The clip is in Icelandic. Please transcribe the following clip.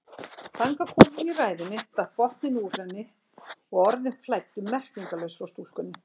Þangað komin í ræðunni datt botninn úr henni og orðin flæddu merkingarlaus frá stúlkunni.